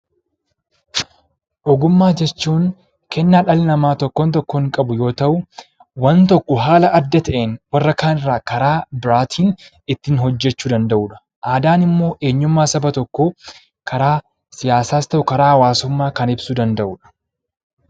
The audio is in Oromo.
Ogummaa jechuun kennaa dhalli namaa tokkoon tokkoon qabu yoo ta'u, waan tokko haala adda ta'een warra kaan irraa karaa biraatiin ittiin hojjechuu danda'udha. Aadaan immoo eenyummaa saba tokkoo karaa siyaasaas ta'u, karaa hawaasummaa kan ibsuu danda'udha.